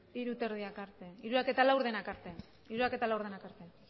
hamabosthamabostak arte benga hamabosthogeita hamarak arte